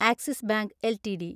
axis Bank LTD